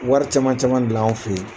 Wari caman caman bila anw fɛ yen